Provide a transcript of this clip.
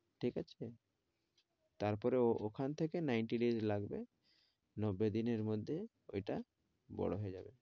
ঠিক আছে? তারপরে ওখান থেকে ninety days লাগবে, নব্বই দিনের মধ্যে ওইটা বড় হয়ে যাবে।